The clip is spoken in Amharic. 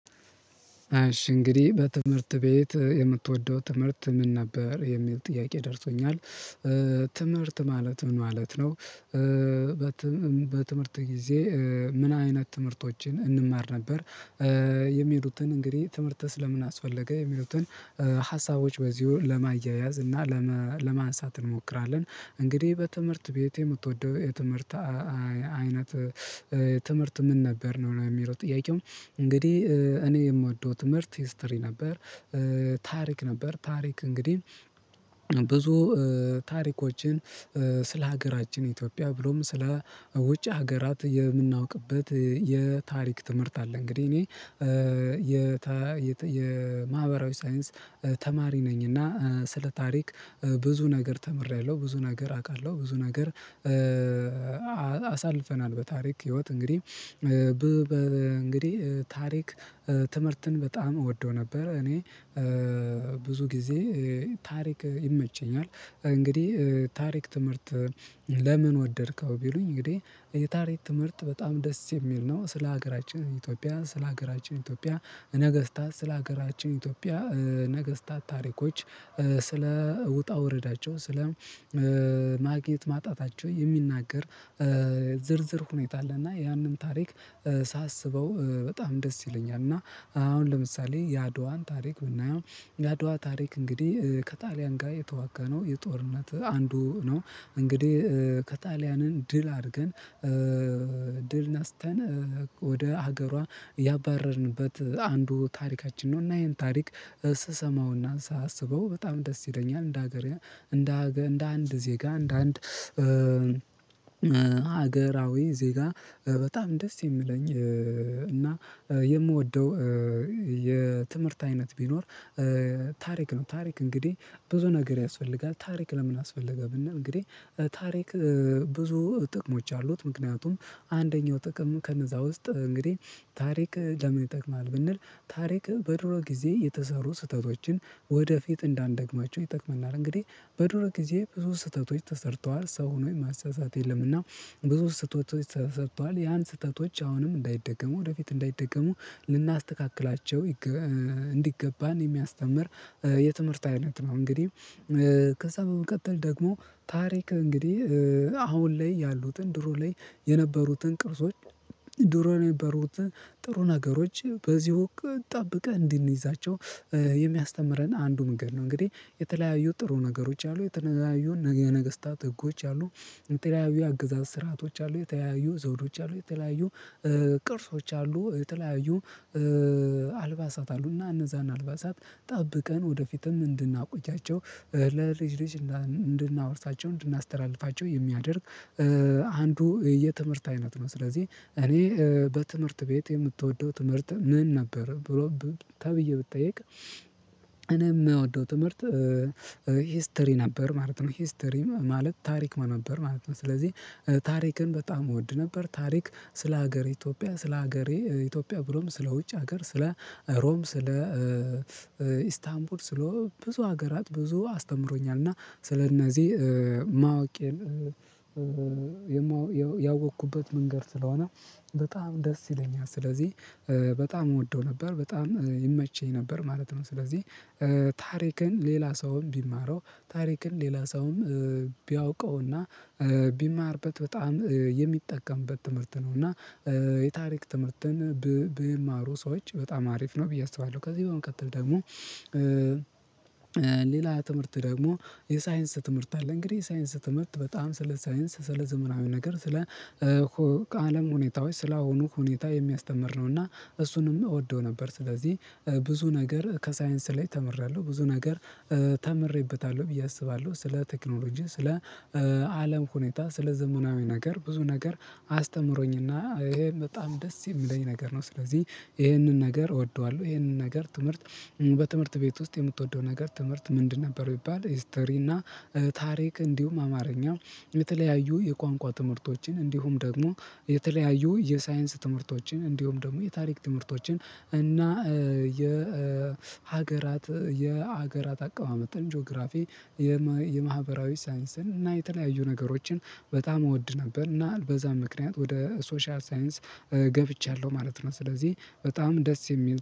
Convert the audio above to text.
እሽ እንግዲህ በትምህርት ቤት የምትወደው ትምህርት ምን ነበር የሚል ጥያቄ ደርሶኛል ትምህርት ማለት ምን ማለት ነው? በትምህርት ጊዜ ምን አይነት ትምህርቶችን እንማር ነበር። የሚሉትን እንግዲህ ትምህርት ስለምን አስፈለገ የሚሉትን ሀሳቦች በዚሁ ለማያያዝ እና ለማንሳት እንሞክራለን። እንግዲህ በትምህርት ቤቴ የምትወደው የትምህርት አይነት ትምህርት ምን ነበር ነው የሚለው ጥያቄው? እንግዲህ እኔ የምወደው ትምህርት ሂስትሪ ነበር። ታሪክ ነበር ታሪክ እንግዲህ ብዙ ታሪኮችን ስለ ሀገራችን ኢትዮጵያ ብሎም ስለ ውጭ ሀገራት የምናውቅበት የታሪክ ትምህርት አለ። እንግዲህ እኔ የማህበራዊ ሳይንስ ተማሪ ነኝ እና ስለ ታሪክ ብዙ ነገር ተምሬያለሁ ብዙ ነገር አውቃለሁ። ብዙ ነገር አሳልፈናል በታሪክ ህይወት እንግዲህ በ እንግዲህ ታሪክ ትምህርትን በጣም እወደው ነበር። እኔ ብዙ ጊዜ ታሪክ ይመቸኛል። እንግዲህ ታሪክ ትምህርትን ለምን ወደድከው ቢሉኝ እንግዲህ የታሪክ ትምህርት በጣም ደስ የሚል ነው። ስለ ሀገራችን ኢትዮጵያ ስለ ሀገራችን ኢትዮጵያ ነገስታት ስለ ሀገራችን ኢትዮጵያ ነገስታት ታሪኮች ስለ ውጣ ውረዳቸው ስለ ማግኘት ማጣታቸው የሚናገር ዝርዝር ሁኔታ አለና ያንን ታሪክ ሳስበው በጣም ደስ ይለኛል። እና አሁን ለምሳሌ የአድዋን ታሪክ ብናየው የአድዋ ታሪክ እንግዲህ ከጣሊያን ጋር የተዋጋነው የጦርነት አንዱ ነው እንግዲህ ከጣሊያንን ድል አድርገን ድል ነስተን ወደ ሀገሯ ያባረርንበት አንዱ ታሪካችን ነው። እና ይሄን ታሪክ ስሰማውና ሳስበው በጣም ደስ ይለኛል። እንደ ሀገር እንደ አንድ ዜጋ እንደ አንድ አገራዊ ዜጋ በጣም ደስ የሚለኝ እና የምወደው የትምህርት አይነት ቢኖር ታሪክ ነው። ታሪክ እንግዲህ ብዙ ነገር ያስፈልጋል ታሪክ ለምን አስፈለገ ብንል እንግዲህ ታሪክ ብዙ ጥቅሞች አሉት። ምክንያቱም አንደኛው ጥቅሙ ከነዛ ውስጥ እንግዲህ ታሪክ ለምን ይጠቅማል? ብንል ታሪክ በድሮ ጊዜ የተሰሩ ስህተቶችን ወደፊት እንዳንደግማቸው ይጠቅመናል። እንግዲህ በድሮ ጊዜ ብዙ ስህተቶች ተሰርተዋል ሰው ሆኖ የማይሳሳት የለምና ብዙ ስህተቶች ተሰርቷል ያን ስህተቶች አሁንም እንዳይደገሙ ወደፊት እንዳይደገሙ ልናስተካክላቸው እንዲገባን የሚያስተምር የትምህርት አይነት ነው። እንግዲህ ከዛ በመቀጠል ደግሞ ታሪክ እንግዲህ አሁን ላይ ያሉትን ድሮ ላይ የነበሩትን ቅርሶች ድሮ ነው የነበሩት ጥሩ ነገሮች በዚህ ጠብቀን እንድንይዛቸው የሚያስተምረን አንዱ መንገድ ነው። እንግዲህ የተለያዩ ጥሩ ነገሮች አሉ የተለያዩ ነገስታት ህጎች አሉ የተለያዩ አገዛዝ ስርአቶች አሉ የተያዩ ዘውዶች አሉ የተለያዩ ቅርሶች አሉ የተለያዩ አልባሳት አሉ እና እነዛን አልባሳት ጠብቀን ወደፊትም እንድናቆያቸው ለልጅ ልጅ እንድናወርሳቸው እንድናስተላልፋቸው የሚያደርግ አንዱ የትምህርት አይነት ነው። ስለዚህ እኔ በትምህርት ቤት የምትወደው ትምህርት ምን ነበር ብሎ ተብዬ ብትጠይቅ እኔ የምወደው ትምህርት ሂስትሪ ነበር ማለት ነው። ሂስትሪም ማለት ታሪክ ማለት ነው ማለት ነው። ስለዚህ ታሪክን በጣም እወድ ነበር ታሪክ ስለ ሀገሬ ኢትዮጵያ ስለ ሀገሬ ኢትዮጵያ ብሎም ስለ ውጭ ሀገር ስለ ሮም ስለ ኢስታንቡል ስለ ብዙ ሀገራት ብዙ አስተምሮኛል እና ስለእነዚህ ማወቄን ያወቅኩበት መንገድ ስለሆነ በጣም ደስ ይለኛል ስለዚህ በጣም እወደው ነበር በጣም ይመቸኝ ነበር ማለት ነው። ስለዚህ ታሪክን ሌላ ሰውም ቢማረው ታሪክን ሌላ ሰውም ቢያውቀውና ቢማርበት በጣም የሚጠቀምበት ትምህርት ነው። እና የታሪክ ትምህርትን ቢማሩ ሰዎች በጣም አሪፍ ነው ብዬ አስባለሁ። ከዚህ በመቀጠል ደግሞ ሌላ ትምህርት ደግሞ የሳይንስ ትምህርት አለ። እንግዲህ የሳይንስ ትምህርት በጣም ስለ ሳይንስ ስለ ዘመናዊ ነገር ስለ ከአለም ሁኔታዎች ስለአሁኑ ሁኔታ የሚያስተምር ነው እና እሱንም እወደው ነበር ስለዚህ ብዙ ነገር ከሳይንስ ላይ ተምሬያለሁ ብዙ ነገር ተምሬበታለሁ ብዬ አስባለሁ። ስለ ቴክኖሎጂ ስለ አለም ሁኔታ ስለ ዘመናዊ ነገር ብዙ ነገር አስተምሮኝና ይሄን በጣም ደስ የሚለኝ ነገር ነው። ስለዚህ ይሄንን ነገር እወደዋለሁ። ይሄንን ነገር ትምህርት በትምህርት ቤት ውስጥ የምትወደው ነገር ትምህርት ምንድን ነበር? ቢባል ሂስተሪ እና ታሪክ እንዲሁም አማርኛ የተለያዩ የቋንቋ ትምህርቶችን እንዲሁም ደግሞ የተለያዩ የሳይንስ ትምህርቶችን እንዲሁም ደግሞ የታሪክ ትምህርቶችን እና የሀገራት የሀገራት አቋም አመተን ጂኦግራፊ የማህበራዊ ሳይንስን እና የተለያዩ ነገሮችን በጣም እወድ ነበር እና በዛም ምክንያት ወደ ሶሻል ሳይንስ ገብቻለሁ ማለት ነው። ስለዚህ በጣም ደስ የሚል